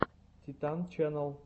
титан ченнал